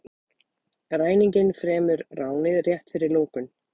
Ræninginn fremur ránið rétt fyrir lokun